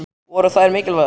Voru þær mikilvægar?